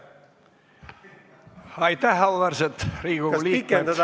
Aitäh, auväärsed Riigikogu liikmed!